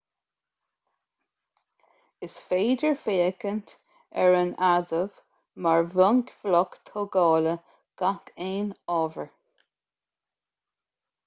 is féidir féachaint ar an adamh mar bhunbhloc tógála gach aon ábhair